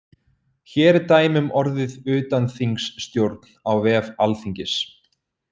Hér eru dæmi um orðið utanþingsstjórn á vef alþingis.